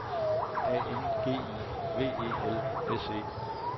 A N G I V E L S E